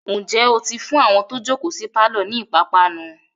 ǹjẹ́ ó ti fún àwọn tó jòkó sí pálọ̀ ni ìpápánu?